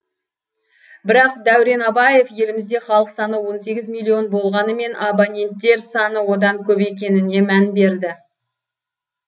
бірақ дәурен абаев елімізде халық саны он сегіз миллион болғанымен абоненттер саны одан көп екеніне мән берді